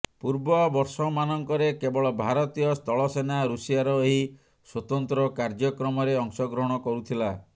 ପୂର୍ବ ବର୍ଷମାନଙ୍କରେ କେବଳ ଭାରତୀୟ ସ୍ଥଳ ସେନା ଋଷିଆର ଏହି ସ୍ୱତନ୍ତ୍ର କାର୍ଯ୍ୟକ୍ରମରେ ଅଂଶଗ୍ରହଣ କରୁଥିଲା